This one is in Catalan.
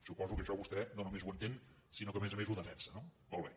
suposo que això vostè no només ho entén sinó que a més a més ho defensa no molt bé